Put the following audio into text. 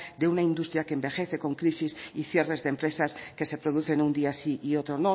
de una industria que envejece con crisis y cierres de empresas que se producen un día sí y otro